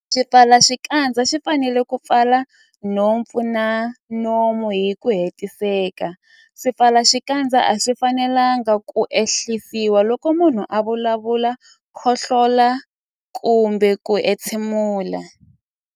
Xipfalaxikandza xi fanele ku pfala nhompfu na nomo hi ku hetiseka. Swipfalaxikandza a swi fanelanga ku ehlisiwa loko munhu a vulavula, khohlola kumbe ku entshemula.